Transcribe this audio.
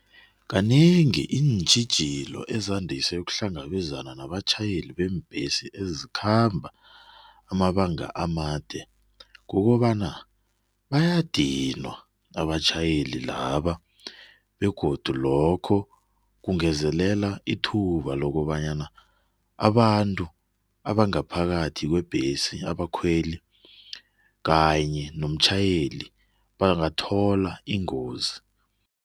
Kanengi iintjhijilo ezandise ukuhlangabezana nabatjhayeli abanengi beembhesi ezikhamba amabanga amade kukobana, bayadinwa abatjhayeli laba begodu lokho kungezelela ithuba lokobana abantu bangaphakathi kwebhesi bakhweli kanye nomtjhayeli, bangathola ingozi.